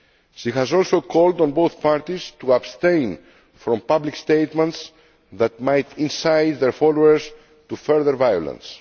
She has also called on both parties to abstain from public statements that might incite their followers to further violence.